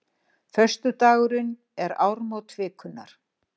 Föstudagurinn er áramót vikunnar.